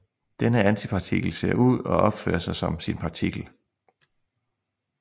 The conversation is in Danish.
Denne antipartikel ser ud og opfører sig som sin partikel